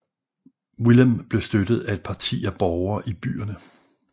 Willem blev støttet af et parti af borgere i byerne